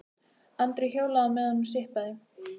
Andri hjólaði á meðan hún sippaði.